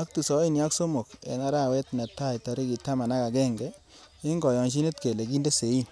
ak tisaini ak somok en arawet netai tarigit taman ak agenge, en koyonyinet kele kinde sein .